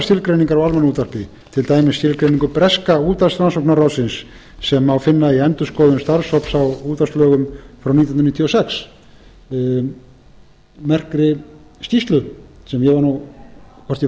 skilgreiningar á almannaútvarpi til dæmis skilgreiningu breska rannsóknarráðsins sem má finna í endurskoðun starfshóps á útvarpslögum frá nítján hundruð níutíu og sex merkri skýrslu sem ég hvorki